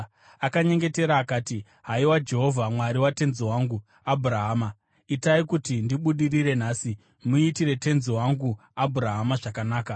Akanyengetera akati, “Haiwa Jehovha, Mwari watenzi wangu Abhurahama, itai kuti ndibudirire nhasi, muitire tenzi wangu Abhurahama zvakanaka.